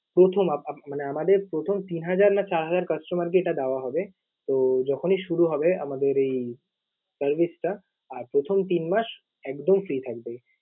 প্রথম আহ মানে আমাদের প্রথম তিন হাজার না চার হাজার customer কে এটা দেওয়া হবে। তো যখনই শুরু হবে আমাদের এই service টা, আর প্রথম তিন মাস একদম free থাকবে।